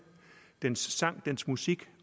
dens sang dens musik